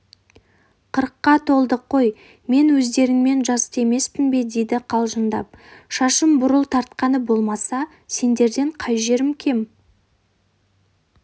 қырыққа толдық қой мен өздеріңмен жасты емеспін бе дейді қалжыңдап шашым бурыл тартқаны болмаса сендерден қай жерім кем